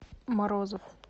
морозов